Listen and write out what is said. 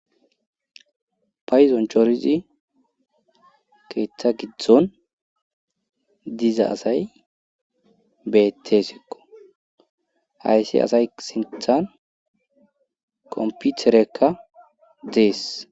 payzon chorizi keeththa gidzdzon diza asay beettesikko hayssi asay sinthan komputerekka dees